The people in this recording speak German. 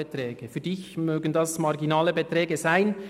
Für Sie mögen dies marginale Beträge sein;